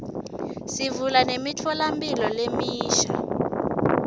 sivula nemitfolamphilo lemisha